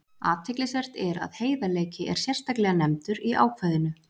Athyglisvert er að heiðarleiki er sérstaklega nefndur í ákvæðinu.